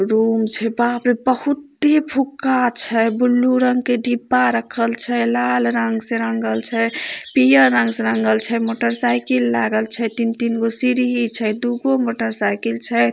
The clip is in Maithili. रूम छै बाप रे बहुत ही फुगगाछ है ब्लू रंग के डिब्बा रखल छै लाल रंग से रंगल छै पीला रंग से रंगल छै मोटर साइकल लगल छै तीन तीन को सीरीह छै दू गो मोटरसाइकल छै।